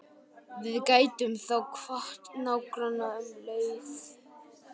Við gætum þá kvatt nágrannana um leið.